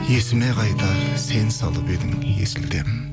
есіме қайта сен салып едің есілден